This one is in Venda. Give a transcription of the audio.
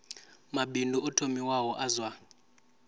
mabindu o thomiwaho a zwa